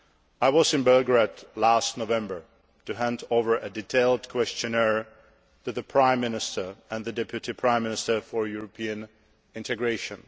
I was in Belgrade last November to hand over a detailed questionnaire to the Prime Minister and the Deputy Prime Minister for European integration.